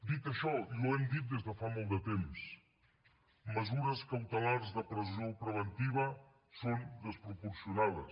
dit això i ho hem dit des de fa molt de temps mesures cautelars de presó preventiva són desproporcionades